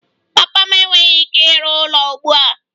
Papa m enweghị ike ịrụ ụlọ ugbu a